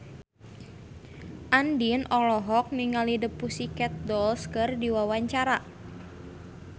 Andien olohok ningali The Pussycat Dolls keur diwawancara